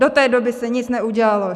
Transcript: Do té doby se nic neudělalo.